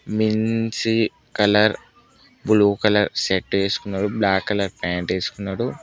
Colour blue colour shirt ఏసుకున్నాడు black colour pant ఏసుకున్నాడు.